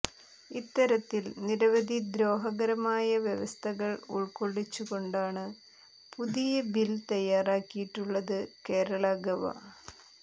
ഇത്തരത്തിൽ നിരവധി ദ്രോഹകരമായ വ്യവസ്ഥകൾ ഉൾകൊള്ളിച്ചുകൊണ്ടാണ് പുതിയ ബിൽ തയ്യാറാക്കിയിട്ടുള്ളത് കേരള ഗവ